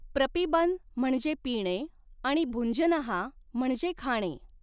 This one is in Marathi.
प्रपिबन म्हणजे पिणे आणि भुञ्जनः म्हणजे खाणे.